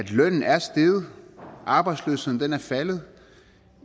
lønnen er steget og arbejdsløsheden er faldet